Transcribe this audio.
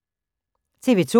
TV 2